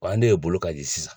Wa an de bolo ka di sisan.